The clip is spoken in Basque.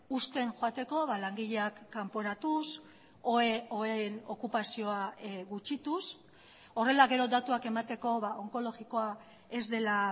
uzten joateko langileak kanporatuz oheen okupazioa gutxituz horrela gero datuak emateko onkologikoa ez dela